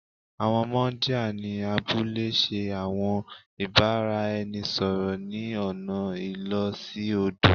Àwọn muńdíá ni abúlé ṣe àwọn ìbáraẹnisọ̀rọ̀ ni ọna ìló sí odò